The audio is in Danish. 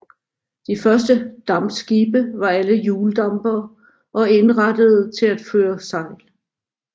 De første dampskibe var alle hjuldampere og indrettede til at føre sejl